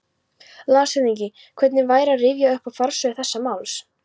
LANDSHÖFÐINGI: Hvernig væri að rifja upp forsögu þessa máls?